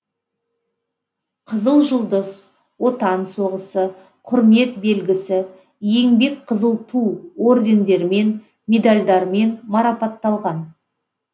қызыл жұлдыз отан соғысы құрмет белгісі еңбек қызыл ту ордендерімен медальдармен марапатталған